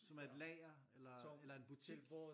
Som er et lager eller eller en butik?